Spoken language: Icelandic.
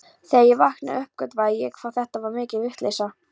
Þegar ég vaknaði uppgötvaði ég hvað þetta var mikil vitleysa.